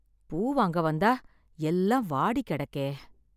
பூ வாங்க வந்தா எல்லாம் வாடி கெடக்கே!